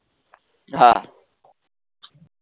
હા